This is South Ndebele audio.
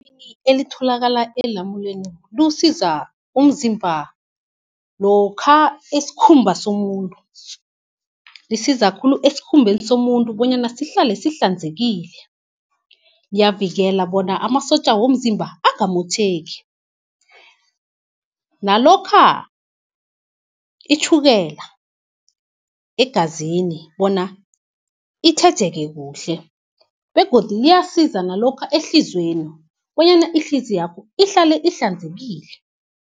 Elitholakala elamuneni liwusiza umzimba lokha, lisiza khulu esikhumbeni somuntu bonyana sihlale sihlanzekile. Liyavikeleka bona amasotja womzimba angamotjheki, nalokha itjhukela egazini bona itjhejeke kuhle, begodu liyasiza nalokha ehliziyweni, bonyana ihliziywakho ihlale ihlanzekile.